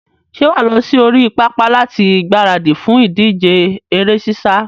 Ṣé wà á lọ sí orí pápá láti gbaradì fún ìdíje eré sísá?